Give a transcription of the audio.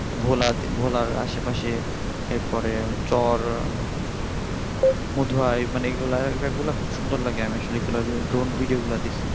ভোলার আশেপাশে তারপরে চর মধু আয় এগুলা এগুলা আসলে সুন্দর লাগে আমি আসলে এগুলোকে drone video দেখি আচ্ছা আচ্ছা